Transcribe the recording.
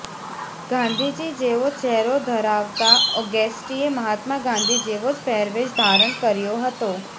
ગાંધીજી જેવો ચહેરો ધરાવતા ઓગેષ્ટીએ મહાત્મા ગાંધી જેવો જ પહેરવેશ ધારણ કર્યો હતો